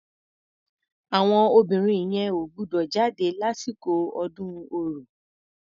Àwọn obìnrin yẹn ò gbúdọ̀ jáde lásìkò ọdún ọrò.